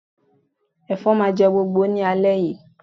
Ẹ̀fọn máa jẹ́ gbogbo ní alẹ́ yìí